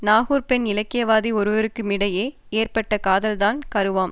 நாகூர் பெண் இலக்கியவாதி ஒருவருக்குமிடையே ஏற்பட்ட காதல்தான் கருவாம்